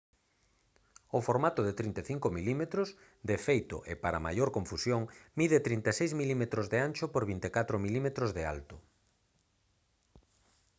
o formato de 35 mm de feito e para maior confusión mide 36 mm de ancho por 24 mm de alto